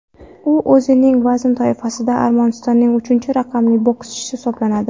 U o‘zining vazn toifasida Armanistonning uchinchi raqamli bokschisi hisoblanadi.